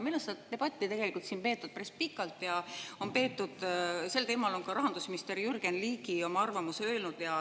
Minu arust on seda debatti siin peetud päris pikalt ja sel teemal on ka rahandusminister Jürgen Ligi oma arvamuse öelnud.